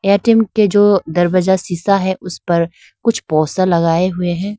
ATM के जो दरवाजा शीशा है उस पर कुछ पोस्टर लगाए हुए है।